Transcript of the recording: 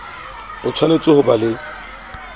o tshwanetse ho ba le